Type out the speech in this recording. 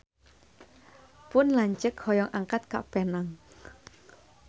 Pun lanceuk hoyong angkat ka Penang